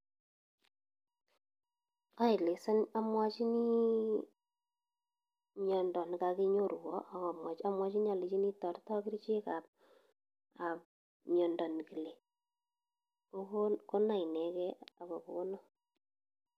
Oeleson omwochini miondo nekokinyorwon amwochini olenchini toreton kerichekab miondo nekile konai ineken ak ko konon.